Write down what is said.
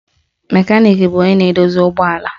Mekaniki bụ onye na-edozi ụgbọala